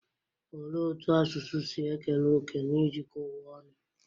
Olee otú asụsụ si ekere òkè na ijikọ ụwa ọnụ?